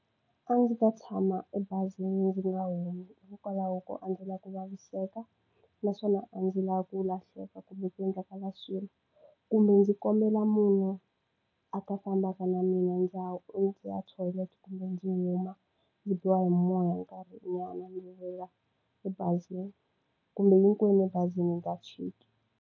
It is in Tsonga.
A ndzi ta tshama ebazini ndzi nga humi hikokwalaho ko a ndzi lava ku vaviseka, naswona a ndzi lava ku lahleka kumbe ku endleka la swilo. Kumbe ndzi kombela munhu a ta fambaka na mina yo ya thoyilete kumbe ndzi huma. Ndzi biwa hi moya nkarhinyana ni vuya ebazini. Kumbe hinkwenu ebazini hi nga chiki.